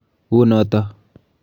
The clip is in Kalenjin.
U noto.